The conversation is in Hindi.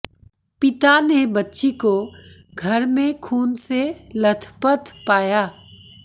पिता ने बच्ची को घर में खून से लथपथ पाया